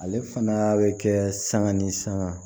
Ale fana bɛ kɛ sanga ni sanga